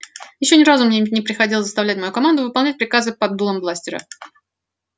ещё ни разу мне не приходилось заставлять мою команду выполнять приказы под дулом бластера